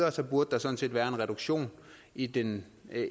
og så burde der sådan set være en reduktion i den